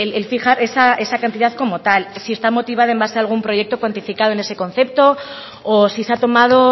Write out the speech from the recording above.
el fijar esa cantidad como tal si está motivada en base a algún proyecto cuantificado en ese concepto o si se ha tomado